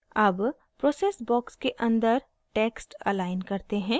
अब process box के अंदर text अलाइन करते हैं